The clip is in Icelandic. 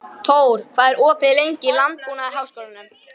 Tór, hvað er opið lengi í Landbúnaðarháskólanum?